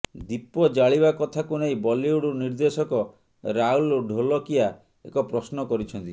ଦୀପ ଜାଳିବା କଥାକୁ ନେଇ ବଲିଉଡ୍ ନିର୍ଦ୍ଦେଶକ ରାହୁଲ ଢୋଲକିଆ ଏକ ପ୍ରଶ୍ନ କରିଛନ୍ତି